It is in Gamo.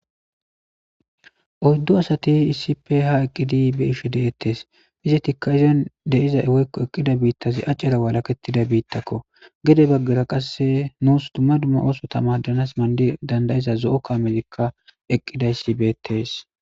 Oyddu asati issippe ha eqqidi be'ishe deetttes.izatika achani de'iza bittazi achera walahetiza bittako gede baggara qassika nusi dumma dumma osota madanasi danidayida zo'o kameti eqqiza issi beettes.